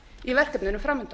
í verkefninu framundan